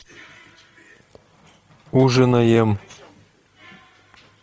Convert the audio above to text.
ужинаем